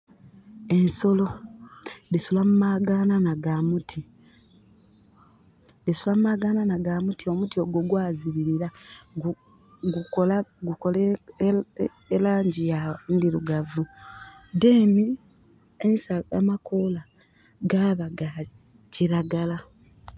Ensolo dhisula mu magananha ga muti, dhisula mumagananha ga muti. Omuti ogwo gwa zibilira gukola elangi ndhirugavu. Menhi ensaga, amakola gaba ga kiragala.